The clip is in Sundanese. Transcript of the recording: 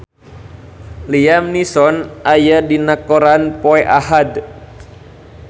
Liam Neeson aya dina koran poe Ahad